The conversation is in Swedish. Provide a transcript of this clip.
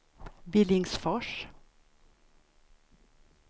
Billingsfors